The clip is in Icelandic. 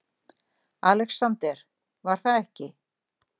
ALEXANDER: Var það ekki?